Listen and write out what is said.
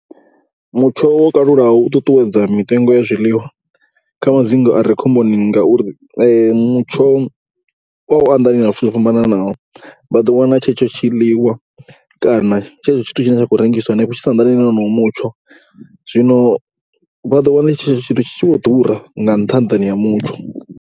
Mutsho wo kalulaho u ṱuṱuwedza mitengo ya zwiḽiwa kha madzingu a re khomboni ngauri mutsho o anḓanywa na zwithu zwo fhambanaho. Vha ḓo wana tshetsho tshiḽiwa kana tshetsho tshithu tshi khou rengiswa henefho tshi sa anḓani na honoyo mutsho. Zwino vha ḓo wana tshetsho tshithu tshi tshi vho ḓura nga nṱhaḓani ha mutsho.